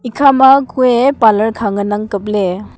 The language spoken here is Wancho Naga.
ekhama kue parlour kha ngan ang kapley kue.